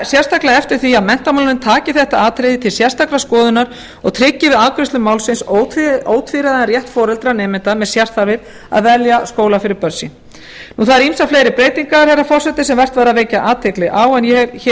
sérstaklega eftir því að menntamálanefnd taki þetta atriði til sérstakrar skoðunar og tryggi við afgreiðslu málsins ótvíræðan rétt foreldra nemenda með sérþarfir að velja skóla fyrir börn sín það eru ýmsar fleiri breytingar herra forseti sem vert væri að vekja athygli á en ég hef